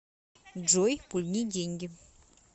джой пульни деньги